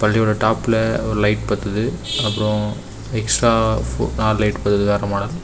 இதோட டாப்ல ஒரு லைட் பாத்துது அப்ரோ எக்ஸ்ட்ரா நாலு லைட் பாத்துது .]